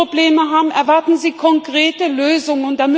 Da, wo sie Probleme haben, erwarten sie konkrete Lösungen.